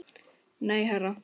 Nei, herra